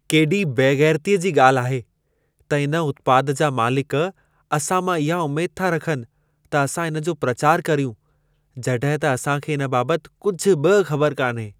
केॾी बेग़ैरतीअ जी ॻाल्हि आहे त इन उत्पाद जा मालिक असां मां इहा उमेद था रखनि त असां इन जो प्रचार कर्यूं, जॾहिं त असां खे इन बाबति कुझु बि ख़बर कान्हे।